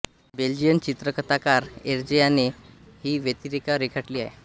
Belgian चित्रकथाकार Hergé याने ही व्यक्तिरेखा रेखाटली आहे